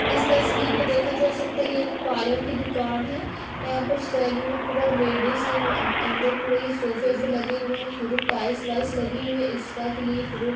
इस तस्वीर में देखा जा सकता है ये पार्लर की दुकान है यहाँ पे सलून लेडीज अंदर सोफे वोफे लगे हुए हैं पूरी टाइल्स वाइल्स लगी हुई है। स्पा के लिए पूरा --